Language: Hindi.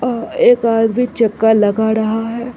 ओ एक आदमी चक्का लगा रहा है।